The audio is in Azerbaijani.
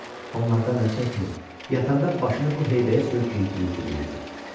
Onlardan əl çəkmir, yatanda başını bu heybəyə söykəyib mürgüləyirdi.